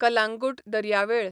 कलांगूट दर्यावेळ